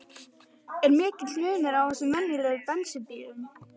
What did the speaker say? En er mikill munur á þessum og venjulegum bensínbíl?